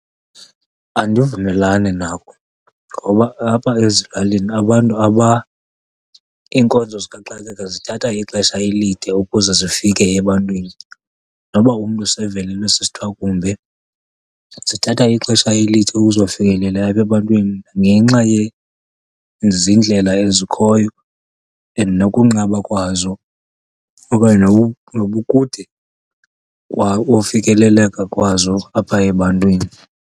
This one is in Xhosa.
Andivumelani nako ngoba apha ezilalini abantu, iinkonzo zikaxakeka zithatha ixesha elide ukuze zifike ebantwini noba umntu sevelelwe sisithwakumbe. Zithatha ixesha elide ukuzofikelela apha ebantwini ngenxa yezindlela ezikhoyo and nokunqaba kwazo okanye nobukude kofikeleleka kwazo apha ebantwini.